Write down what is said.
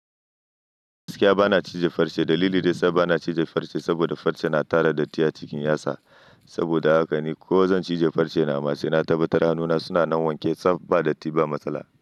Gaskiya ba na cije farce. Dalili dai ya sa ba na cije farce saboda farce na tara datti a cikin yatsa. Saboda haka ni ko zan cije farce na, amma sai na tabbatar ma hannuna suna nan wanke saboda datti ba matsala.